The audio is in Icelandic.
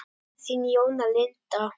Þín Jóna Linda.